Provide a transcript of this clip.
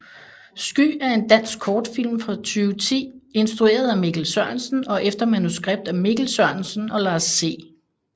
Sky er en dansk kortfilm fra 2010 instrueret af Mikkel Sørensen og efter manuskript af Mikkel Sørensen og Lars C